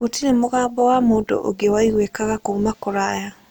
Gũtirĩ mũgambo wa mũndũ ũngĩ waiguĩkaga kuuma kũraya.